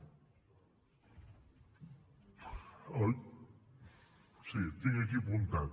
ho tinc aquí apuntat